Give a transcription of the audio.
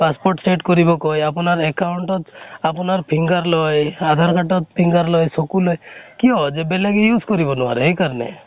passport set কৰিব কয় । আপোনাৰ account ত আপোনাৰ finger লয় । আধাৰ card চকু লয়, finger লয় । কিয় ? যে বেলেগে use কৰিব নোৱাৰে, সেইকাৰণে ।